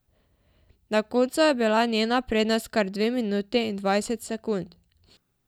Na koncu je bila njena prednost kar dve minuti in dvajset sekund.